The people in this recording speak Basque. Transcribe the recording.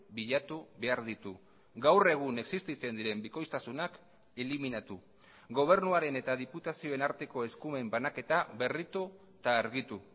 bilatu behar ditu gaur egun existitzen diren bikoiztasunak eliminatu gobernuaren eta diputazioen arteko eskumen banaketa berritu eta argitu